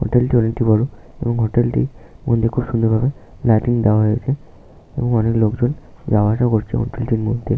হোটেলটি অনেকটি বড় এবং হোটেলটির মধ্যে খুব সুন্দর ভাবে লাইটিং দেওয়া হয়েছে এবং অনেক লোকজন যাওয়া আসা করছে হোটেলটির মধ্যে।